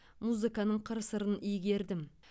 музыканың қыр сырын игердім